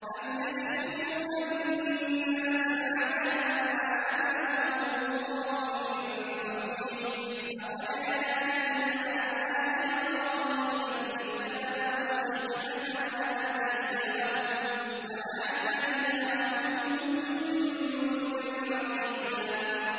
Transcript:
أَمْ يَحْسُدُونَ النَّاسَ عَلَىٰ مَا آتَاهُمُ اللَّهُ مِن فَضْلِهِ ۖ فَقَدْ آتَيْنَا آلَ إِبْرَاهِيمَ الْكِتَابَ وَالْحِكْمَةَ وَآتَيْنَاهُم مُّلْكًا عَظِيمًا